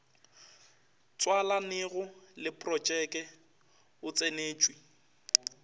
tswalanego le projeke o tsentšwe